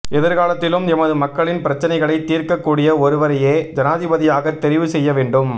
எதிர் காலத்திலும் எமது மக்களின் பிரச்சினைகளைத் தீர்க்கக் கூடிய ஒருவரையே ஜனாதிபதியாகத் தெரிவுசெய்யவேண்டும்